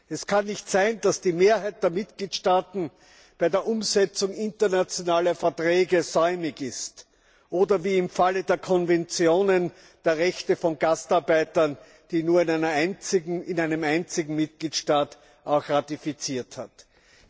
Es kann nicht sein, dass die Mehrheit der Mitgliedstaaten bei der Umsetzung internationaler Verträge säumig ist, oder wie im Falle der Konventionen der Rechte von Gastarbeitern, die nur in einem einzigen Mitgliedstaat auch ratifiziert wurden.